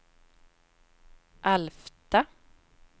Alfta